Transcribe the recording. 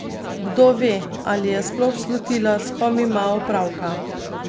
Kdo ve, ali je sploh slutila, s kom ima opravka?